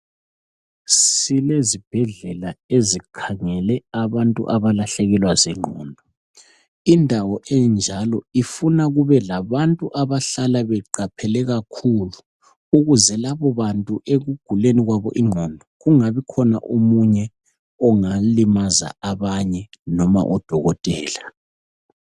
sime ezikhangele abantu abalahlekelwa zinqodo indawo enjalo ifuna kube labantu abahlala beqaphele kakhulu ukuze lababantu ekuguleni kwabo inqondo kungabikhona omunye ongalimaza abanye noma odokotela